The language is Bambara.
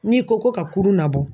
N'i ko ko ka kurun labɔ